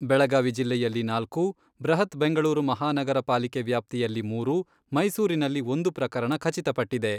ಬೆಳಗಾವಿ ಜಿಲ್ಲೆಯಲ್ಲಿ ನಾಲ್ಕು, ಬೃಹತ್ ಬೆಂಗಳೂರು ಮಹಾನಗರ ಪಾಲಿಕೆ ವ್ಯಾಪ್ತಿಯಲ್ಲಿ ಮೂರು, ಮೈಸೂರಿನಲ್ಲಿ ಒಂದು ಪ್ರಕರಣ ಖಚಿತ ಪಟ್ಟಿದೆ.